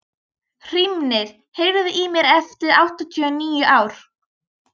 Hrímnir, heyrðu í mér eftir áttatíu og níu mínútur.